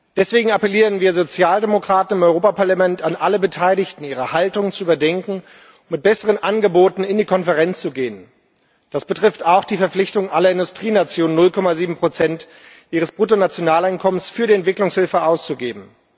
Deswegen appellieren wir Sozialdemokraten im Europäischen Parlament an alle Beteiligten, ihre Haltung zu überdenken und mit besseren Angeboten in die Konferenz zu gehen. Das betrifft auch die Verpflichtung aller Industrienationen, 0,7 ihres Bruttonationaleinkommens für die Entwicklungshilfe auszugeben.